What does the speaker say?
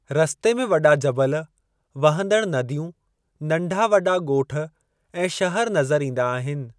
रस्ते में वॾा जबल, वहंदड़ नदियूं, नंढा वॾा ॻोठ ऐं शहर नज़र ईंदा आहिनि।